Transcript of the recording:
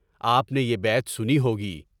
آپ نے یہ بیت سنی ہوگی۔